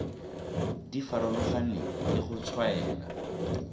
di farologaneng le go tshwaela